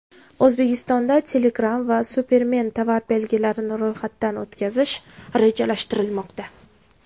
O‘zbekistonda Telegram va Superman tovar belgilarini ro‘yxatdan o‘tkazish rejalashtirilmoqda.